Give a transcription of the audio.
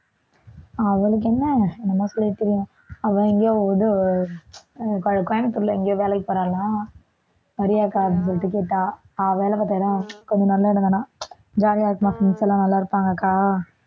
அவளுக்கு என்ன அவ எங்கேயோ இது அஹ் கோ~ கோயம்புத்தூர்ல எங்கேயோ வேலைக்கு போறாளாம் வரியா அக்கா அப்படின்னு சொல்லிட்டு கேட்டா அவ வேலை பார்த்த இடம் கொஞ்சம் நல்ல இடம்தானாம் jolly ஆ இருக்குமாம் friends எல்லாம் நல்லா இருப்பாங்க அக்கா